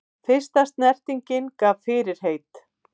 Fyrsta snertingin gaf fyrirheit